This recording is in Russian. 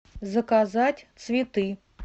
заказать цветы